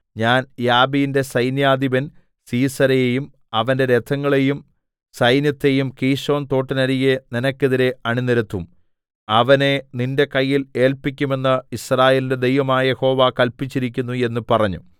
ഞാൻ യാബീന്റെ സൈന്യാധിപൻ സീസെരയെയും അവന്റെ രഥങ്ങളെയും സൈന്യത്തെയും കീശോൻ തോട്ടിന്നരികെ നിനക്കെതിരെ അണിനിരത്തും അവനെ നിന്റെ കയ്യിൽ ഏല്പിക്കുമെന്ന് യിസ്രായേലിന്റെ ദൈവമായ യഹോവ കല്പിച്ചിരിക്കുന്നു എന്ന് പറഞ്ഞു